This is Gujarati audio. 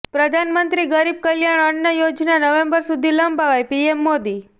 પ્રધાનમંત્રી ગરીબ કલ્યાણ અન્ન યોજના નવેમ્બર સુધી લંબાવાઈઃ પીએમ મોદી